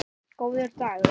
Góður dagur!